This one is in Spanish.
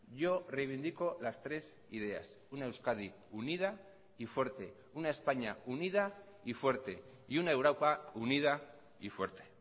yo reivindico las tres ideas una euskadi unida y fuerte una españa unida y fuerte y una europa unida y fuerte